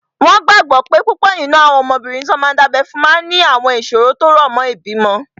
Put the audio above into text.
Wọ́n gbàgbọ́ pé púpọ̀ nínú àwọn ọmọbìnrin tí wọ́n dábẹ́ fún máa ní àwọn ìṣòro tó rọ̀ mọ́ ìbímọ